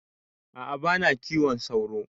A'a bana kiwon sauro